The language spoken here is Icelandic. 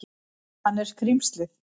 Hann er skrímslið.